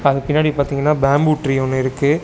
அதுக் பின்னாடி பாத்தீங்னா பேம்பு ட்ரீ ஒன்னு இருக்கு.